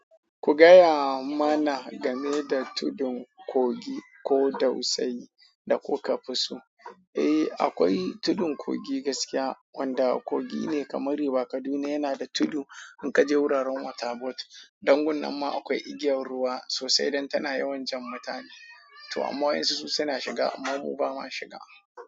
Ku gaya mana game da tudun kogi ko dausayi da kuka fi so. Eh, akwai tudun kogi gaskiya wanda kogi ne kamar River Kaduna yana da tudu. In ka je wuraren Waterboard, dan gun nan ma akwai igiyar ruwa sosai don tana yawan jan mutane. To amma waɗansu su suna shiga amma mu ba ma shiga.